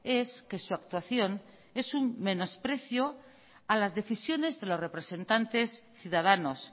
es que su actuación es un menosprecio a las decisiones de los representantes ciudadanos